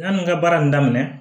Yanni n ka baara in daminɛ